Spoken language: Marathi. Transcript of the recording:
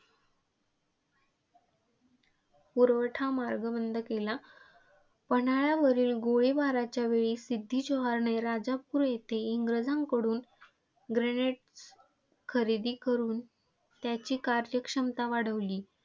पुरवठा मार्ग बंद केला. पन्हाळ्यावरील गोळीबाराच्यावेळी सिद्दी जोहरने राजापूर येथील इंग्रजांकडुन grenade खरेदी करुन त्याची कार्यक्षमता वाढविली.